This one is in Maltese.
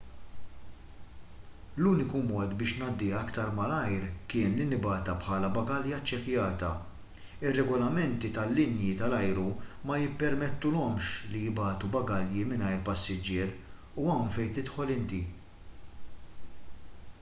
l-uniku mod biex ngħaddiha aktar malajr kien li nibgħatha bħala bagalja ċċekkjata ir-regolamenti tal-linji tal-ajru ma jippermettulhomx li jibagħtu bagalji mingħajr passiġġier u hawn fejn tidħol inti